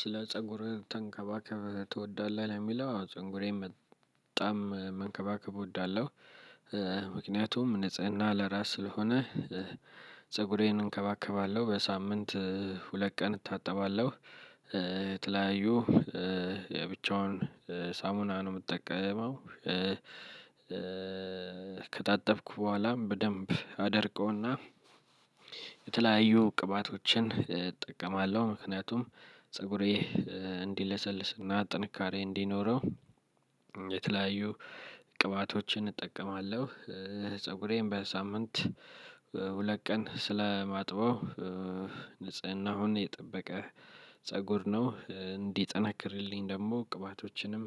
ስለ ፀጉርህ ተንከባከብ ትወዳለህ የሚለው? ፀጉሬን በጣም መንከባከብ እወዳለሁ። ምክንያቱም ንጽህና ለራስ ስለሆነ። ፀጉሬን እንከባከባለሁ በሳምንት ሁለት ቀን እታጠባለሁ። የተለያዩ የብቻውን ሳሙና ነው እምትጠቀመው። ከታጠብኩ በኋላም በደንብ አደርቀውና የተለያዩ ቅባቶችን እጠቀማለሁ። ምክንያቱም ፀጉሬ እንዲለሰልስና ጥንካሬ እንዲኖረው የተለያዩ ቅባቶችን እጠቀማለሁ። ፀጉሬን በሳምንት ሁለት ቀን ስለማጥበው ንጽህናውን የጠበቀ ፀጉር ነው እንዲጠናክርልኝ ደሞ ቅባቶችንም